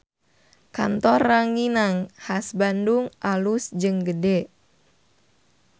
Kantor Ranginang Khas Bandung alus jeung gede